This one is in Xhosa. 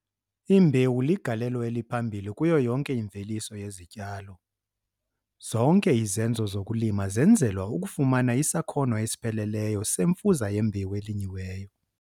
Imbewu ligalelo eliphambili kuyo yonke imveliso yezityalo. Zonke izenzo zokulima zenzelwa ukufumana isakhono esipheleleyo semfuza yembewu elinyiweyo.